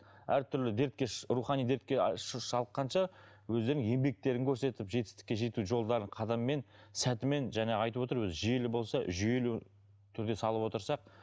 әртүрлі дертке рухани дертке шалдыққанша өздерінің еңбектерін көрсетіп жетістікке жету жолдарын қадаммен сәтімен жаңа айтып отыр өзі жүйелі болса жүйелі түрде салып отырсақ